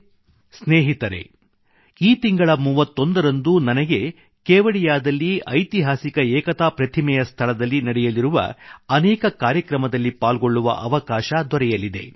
ಸ್ನೇಹಿತರೆ ಈ ತಿಂಗಳ 31 ರಂದು ನನಗೆ ಕೇವಡಿಯಾದಲ್ಲಿ ಐತಿಹಾಸಿಕ ಏಕತಾ ಪ್ರತಿಮೆ ಸ್ಟಾಚ್ಯೂ ಒಎಫ್ ಯುನಿಟಿ ಯ ಸ್ಥಳದಲ್ಲಿ ನಡೆಯಲಿರುವ ಅನೇಕ ಕಾರ್ಯಕ್ರಮದಲ್ಲಿ ಪಾಲ್ಗೊಳ್ಳುವ ಅವಕಾಶ ದೊರೆಯಲಿದೆ